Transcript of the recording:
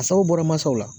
A sababu bɔra masaw la